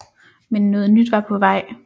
Men noget nyt var på vej